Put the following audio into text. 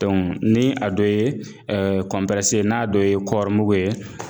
ni a dɔ ye ye n'a dɔ ye kɔrimugu ye